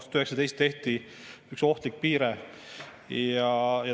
üks ohtlik piire.